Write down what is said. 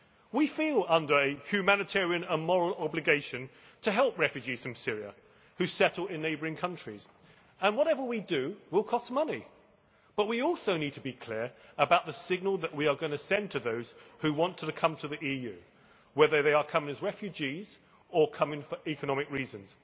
We feel under a humanitarian and moral obligation to help refugees from Syria who settle in neighbouring countries, and whatever we do will cost money, but we also need to be clear about the signal that we are going to send to those who want to come to the EU, whether they are coming as refugees or coming for economic reasons.